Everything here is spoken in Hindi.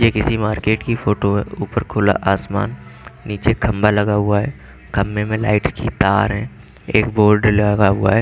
ये किसी मार्केट की फोटो है ऊपर खुला आसमान नीचे खंभा लगा हुआ है खंभे में लाइट की तार है एक बोर्ड लगा हुआ है।